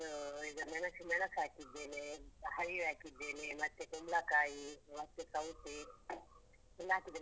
ಅದು ಈಗ ಮೆಣಸು, ಮೆಣಸು ಹಾಕಿದ್ದೇನೆ, ಹರಿವೆ ಹಾಕಿದ್ದೇನೆ ಮತ್ತೆ ಕುಂಬ್ಳಕಾಯಿ ಮತ್ತೆ ಸೌತೆ ಎಲ್ಲ ಹಾಕಿದ್ದೇನೆ.